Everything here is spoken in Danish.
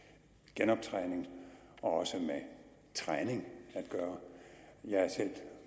genoptræning og med træning at gøre jeg er selv